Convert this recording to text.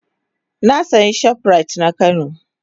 Na sayi shoprite na kano.